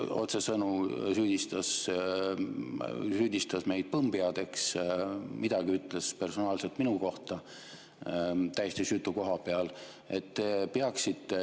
Ta otsesõnu süüdistas meid põmmpeadeks, ütles midagi personaalselt minu kohta täiesti süütu koha peal.